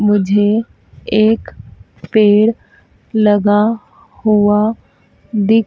मुझे एक पेड़ लगा हुआ दिख--